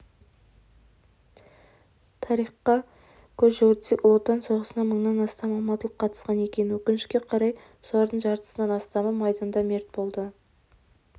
тарихқа көз жүгіртсек ұлы отан соғысына мыңнан астам алматылық қатысқан екен өкінішке қарай солардың жартысынан астамы майданда мерт болды